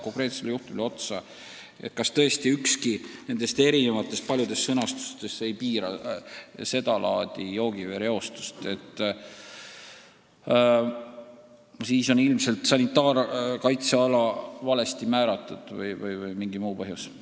Kui tõesti ükski nendest sätetest ei piira sedalaadi joogivee reostamist, siis on ilmselt sanitaarkaitseala valesti määratud või on mängus mingi muu põhjus.